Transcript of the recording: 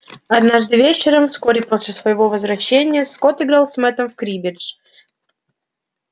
однажды вечером вскоре после своего возвращения скотт играл с мэттом в криббедж